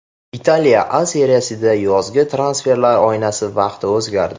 Italiya A Seriyasida yozgi transferlar oynasi vaqti o‘zgardi.